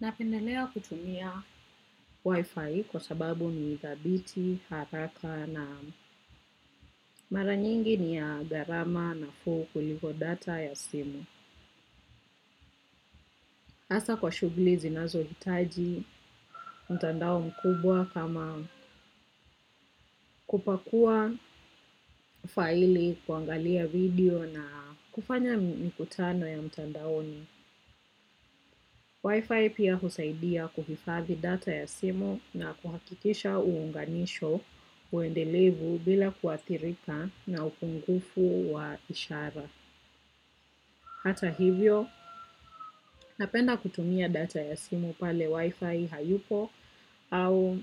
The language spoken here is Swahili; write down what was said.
Napendelea kutumia Wi-Fi kwa sababu ni thabiti, haraka na mara nyingi ni ya gharama nafuu kuliko data ya simu. Hasa kwa shughuli zinazo hitaji mtandao mkubwa kama kupakua file kuangalia video na kufanya mikutano ya mtandaoni. Wi-Fi pia husaidia kuhifadhi data ya simu na kuhakikisha uunganisho uendelevu bila kuathirika na upungufu wa ishara. Hata hivyo, napenda kutumia data ya simu pale Wi-Fi hayupo au